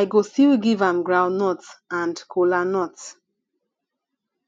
i go still give am groundnut and kola nut